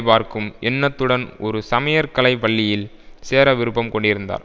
பார்க்கும் எண்ணத்துடன் ஒரு சமையற்கலைப் பள்ளியில் சேர விருப்பம் கொண்டிருந்தார்